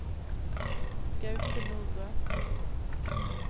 Gaute Nordbø